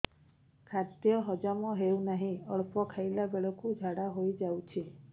ଖାଦ୍ୟ ହଜମ ହେଉ ନାହିଁ ଅଳ୍ପ ଖାଇଲା ବେଳକୁ ଝାଡ଼ା ହୋଇଯାଉଛି